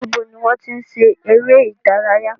Níbo ni wọ́n ti ń ṣeré ìdárayá?